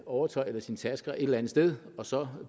overtøj eller sine tasker et eller andet sted og så